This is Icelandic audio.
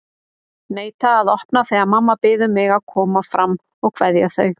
Neita að opna þegar mamma biður mig að koma fram að kveðja þau.